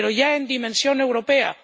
Sí, pero ya en dimensión europea